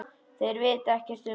Þeir vita ekkert um mig.